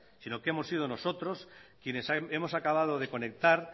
sino que hemos sido nosotros quienes hemos acabado de conectar